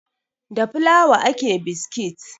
Da fulawa ake biskit